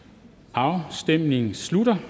afstemningen slutter